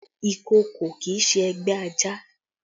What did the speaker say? Ìkòkò kì í ṣe ẹgbẹ́ ajá